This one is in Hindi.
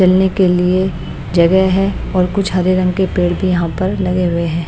चलने के लिए जगह है और कुछ हरे रंग के पेड़ भी यहां पर लगे हुए हैं।